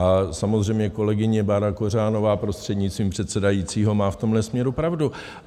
A samozřejmě kolegyně Bára Kořanová prostřednictvím předsedajícího má v tomhle směru pravdu.